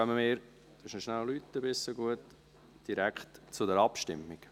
Wir kommen direkt zur Abstimmung.